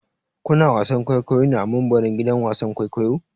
Ku na wasan kwaikwayo ne a mumbarin gidan wasan kwaikwayo?